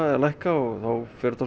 að lækka og þá fer þetta